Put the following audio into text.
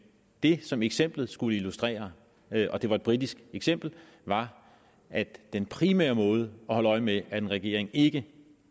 det som eksemplet skulle illustrere og det var et britisk eksempel var at den primære måde at holde øje med at en regering ikke